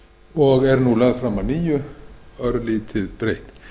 og er nú lögð fram að nýju örlítið breytt